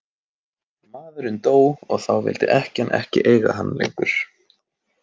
Maðurinn dó og þá vildi ekkjan ekki eiga hann lengur.